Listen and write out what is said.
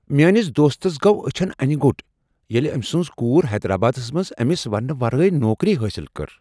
میٲنس دوستس گوٚو أچھن انہ گوٚٹ ییٚلہ أمۍ سٕنٛز کور حیدرآبادس منز أمس ونٛنہٕ ورٲیہ نوکری حٲصل کٔر۔